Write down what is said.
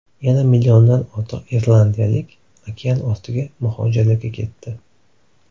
Yana milliondan ortiq irlandiyalik okeanortiga muhojirlikka ketdi.